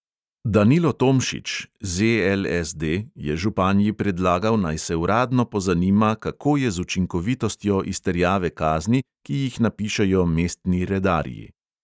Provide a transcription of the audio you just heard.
Danilo tomšič je županji predlagal, naj se uradno pozanima, kako je z učinkovitostjo izterjave kazni, ki jih napišejo mestni redarji.